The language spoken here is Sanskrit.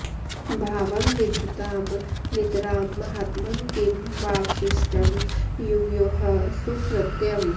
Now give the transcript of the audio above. भावं विधत्तां नितरां महात्मन् किं वावशिष्टं युवयोः सुकृत्यम्